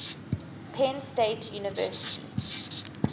penn state university